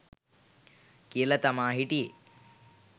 කියල තමා හිටියෙ